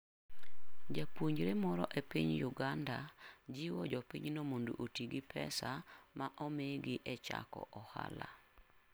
Japuonjre moro e piny Uganda jiwo jopinyno mondo oti gi pesa ma omigi e chako ohala.